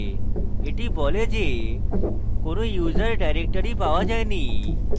এটি বলে যে কোনো user ডাইরেক্টরি পাওয়া যায়নি